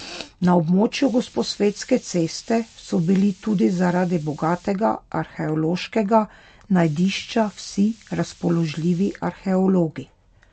Na območju Gosposvetske ceste so bili tudi zaradi bogatega arheološkega najdišča vsi razpoložljivi arheologi.